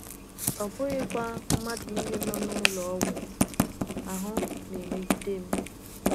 Ọ bụghị kwa na mmadụ nile nọ n’ụlọ ọgwụ ahụ na - emegide m.